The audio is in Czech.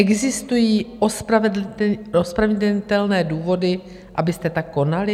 Existují ospravedlnitelné důvody, abyste tak konali?